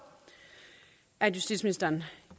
at justitsministeren